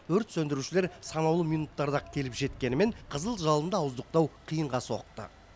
өрт сөндірушілер санаулы минуттарда ақ келіп жеткенімен қызыл жалынды ауыздықтау қиынға соқты